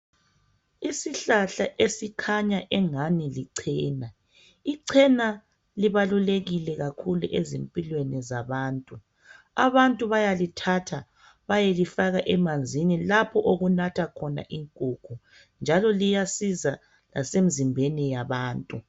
Isihlahla esikhanya engani lichena. Ichena libalulekile kakhulu ezimpilweni zabantu. Abantu bayalithatha bayelifaka emanzini lapho okunatha khona inkomo, njalo liyasiza lasemzimbeni yabantu.